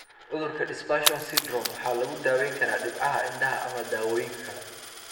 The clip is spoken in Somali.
Cudurka Dispersion Syndrome waxaa lagu daweyn karaa dhibcaha indhaha ama daawooyin kale.